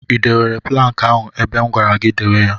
I dewere plankị ahụ ebe m gwara gị dewe ya?